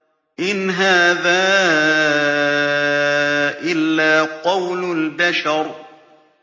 إِنْ هَٰذَا إِلَّا قَوْلُ الْبَشَرِ